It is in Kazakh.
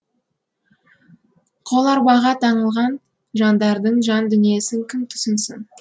қоларбаға таңылған жандардың жан дүниесін кім түсінсін